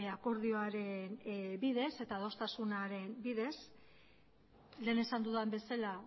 akordioaren bidez eta adostasunaren bidez lehen esan dudan bezala